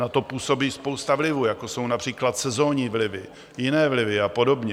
Na to působí spousta vlivů, jako jsou například sezonní vlivy, jiné vlivy a podobně.